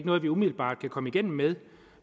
noget vi umiddelbart kan komme igennem med